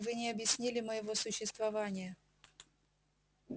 вы не объяснили моего существования